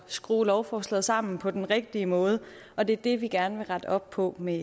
skrue lovforslaget sammen på den rigtige måde og det er det vi gerne vil rette op på med